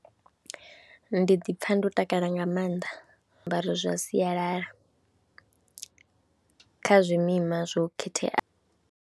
Ndi ḓi pfha ndo takala nga maanḓa ndo ambara zwiambaro zwa sialala kha zwimima zwo khetheaho.